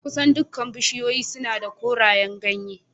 Kusan dukkan bishiyoyi suna da korayen ganye